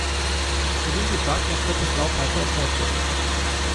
Krim bi tak lahko postal peto območje.